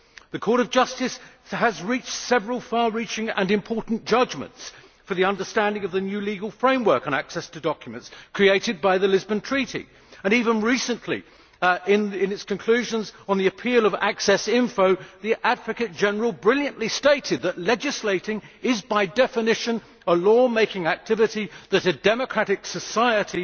The Court of Justice has reached several far reaching and important judgments for the understanding of the new legal framework on access to documents created by the Lisbon Treaty, and even recently in its conclusions on the appeal on access information, the Advocate General brilliantly stated that legislating is by definition a law making activity and that a democratic society